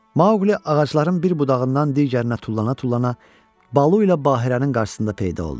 Mauli ağacların bir budağından digərinə tullana-tullana Balu ilə Bahirənin qarşısında peyda oldu.